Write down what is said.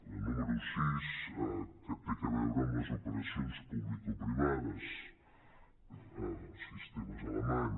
la número sis que té a veure amb les operacions publicoprivades el sistema alemany